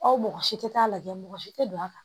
Aw mɔgɔ si tɛ taa lajɛ mɔgɔ si tɛ don a kan